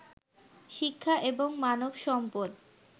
শিক্ষা এবং মানব সম্পদ